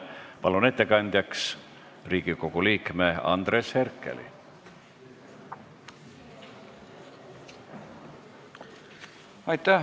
Palun ettekandjaks Riigikogu liikme Andres Herkeli!